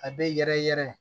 A bɛ yɛrɛ yɛrɛ